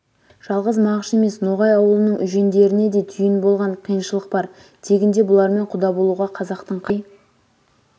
жалғыз мағыш емес ноғай аулының үжендеріне де түйін болған қиыншылықбар тегінде бұлармен құда болуға қазақтың қай